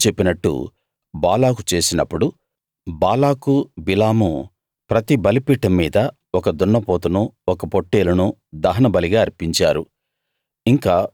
బిలాము చెప్పినట్టు బాలాకు చేసినప్పుడు Balak Balaam ప్రతి బలిపీఠం మీద ఒక దున్నపోతునూ ఒక పొట్టేలునూ దహనబలిగా అర్పించారు